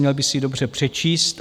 Měl by si ji dobře přečíst.